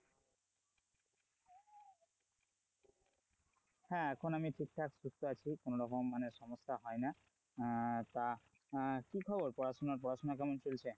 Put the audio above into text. হ্যাঁ এখন আমি ঠিকঠাক সুস্থ আছি কোনরকম মানে সমস্যা হয় না আহ তা আহ কি খবর পড়াশোনার পড়াশোনা কেমন চলছে?